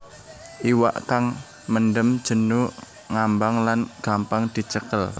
Iwak kang mendem jenu ngambang lan gampang dicekel